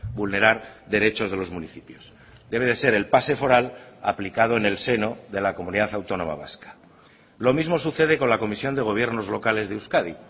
vulnerar derechos de los municipios debe de ser el pase foral aplicado en el seno de la comunidad autónoma vasca lo mismo sucede con la comisión de gobiernos locales de euskadi